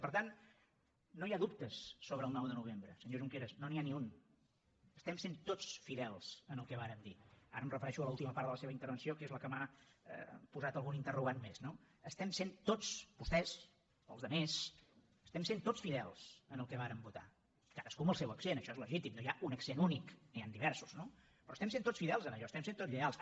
per tant no hi ha dubtes sobre el nou de novembre senyor junqueras no n’hi ha ni un estem sent tots fidels al que vàrem dir ara em refereixo a l’última part de la seva intervenció que és la que m’ha posat algun interrogant més no estem sent tots vostès els altres fidels al que vàrem votar cadascú amb el seu accent això és legítim no hi ha un accent únic n’hi han diversos no però estem sent tots fidels en allò hi estem sent tots lleials